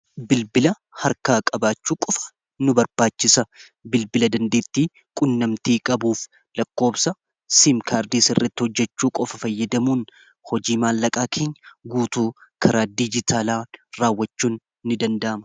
bilbila harkaa- qabaachuu qofa nu barbaachisa. bilbila dandeettii qunnamtii qabuuf lakkoobsa simkaardi sirratti hojjechuu qofa fayyadamuun hojii maallaqaa kanya guutuu karaa diijitaalaa raawwachuu in danda'ama